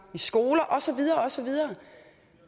i skoler og så videre og så videre